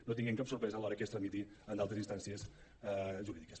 no tinguem cap sorpresa a l’hora que es tramiti en d’altres instàncies jurídiques